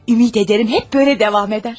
Ümid edirəm həmişə belə davam edər.